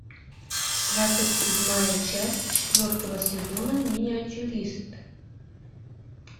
двадцать седьмая часть четвертого сезона миниатюрист